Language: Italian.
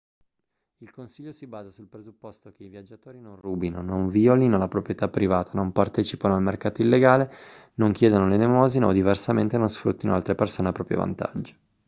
il consiglio si basa sul presupposto che i viaggiatori non rubino non violino la proprietà privata non partecipino al mercato illegale non chiedano l'elemosina o diversamente non sfruttino altre persone a proprio vantaggio